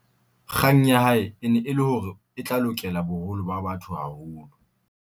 kgang ya hae e ne e le hore e tla lokela boholo ba batho haholo